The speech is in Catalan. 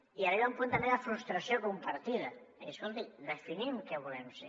i arriba un punt també de frustració compartida de dir escolti definim què volem ser